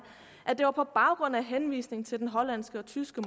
at det var på baggrund af henvisning til den hollandske og tyske